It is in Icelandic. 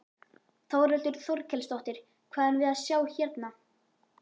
Þórhildur Þorkelsdóttir: Hvað erum við að sjá hérna?